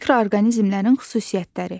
Mikroorqanizmlərin xüsusiyyətləri.